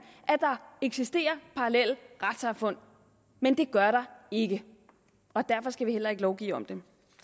at der eksisterer parallelle retssamfund men det gør der ikke og derfor skal vi heller ikke lovgive om dem